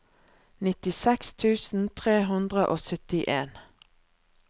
nittiseks tusen tre hundre og syttien